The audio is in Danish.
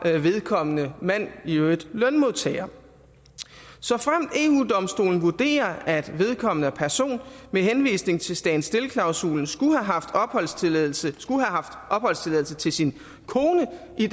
vedkommende mand i øvrigt lønmodtager såfremt eu domstolen vurderer at vedkommende person med henvisning til stand still klausulen skulle have haft opholdstilladelse opholdstilladelse til sin kone i